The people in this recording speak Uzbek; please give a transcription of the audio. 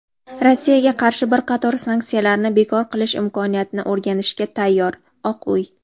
Rossiyaga qarshi bir qator sanksiyalarni bekor qilish imkoniyatini o‘rganishga tayyor – "Oq uy".